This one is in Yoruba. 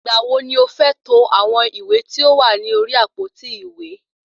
Ìgbà wo ni o fẹ́ to àwọn ìwé tí ó wà ní orí àpótí ìwé?